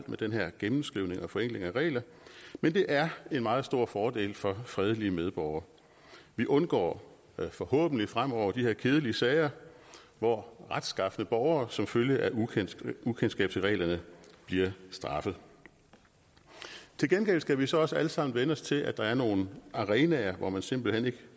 med den her gennemskrivning og forenkling af regler men det er en meget stor fordel for fredelige medborgere vi undgår forhåbentlig fremover de her kedelige sager hvor retskafne borgere som følge af ukendskab ukendskab til reglerne bliver straffet til gengæld skal vi så også alle sammen vænne os til at der er nogle arenaer hvor man simpelt hen ikke